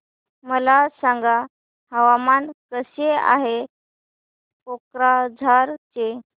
मला सांगा हवामान कसे आहे कोक्राझार चे